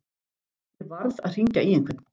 Ég varð að hringja í einhvern.